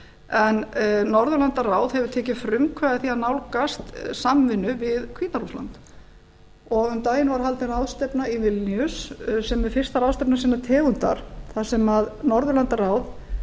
en norðurlandaráð hefur tekið frumkvæði að því að nálgast samvinnu við hvíta rússland um daginn var haldin ráðstefna í vilníus sem er fyrsta ráðstefna sinnar tegundar þar sem norðurlandaráð